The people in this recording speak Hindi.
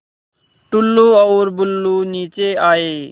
टुल्लु और बुल्लु नीचे आए